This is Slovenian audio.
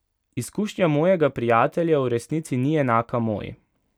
Izkušnja mojega prijatelja v resnici ni enaka moji.